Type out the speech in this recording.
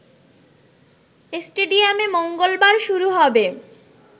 স্টেডিয়ামে মঙ্গলবার শুরু হবে